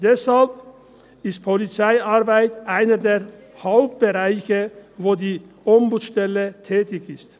Deshalb ist Polizeiarbeit einer der Hauptbereiche, in denen die Ombudsstelle tätig ist.